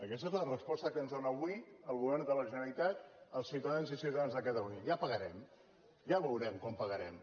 aquesta és la resposta que ens dóna avui el govern de la generalitat als ciutadans i ciutadanes de catalunya ja pagarem ja veurem quan pagarem